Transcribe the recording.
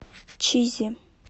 чизи